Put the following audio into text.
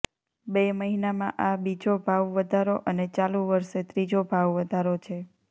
બે મહિનામાં આ બીજો ભાવવધારો અને ચાલુ વર્ષે ત્રીજો ભાવવધારો છે